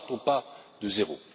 Nous ne partons pas de zéro.